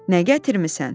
Nə gətirmisən?